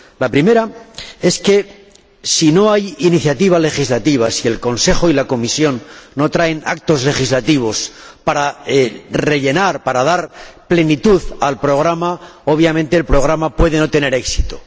La primera es que, si no hay iniciativa legislativa, si el Consejo y la Comisión no traen actos legislativos para rellenar, para dar plenitud al programa, obviamente, el programa puede no tener éxito.